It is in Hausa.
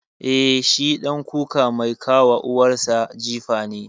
Eh, shi ɗan kuka mai ka wa uwar sa jifa ne.